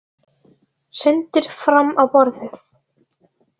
Hrindir fram á borðið.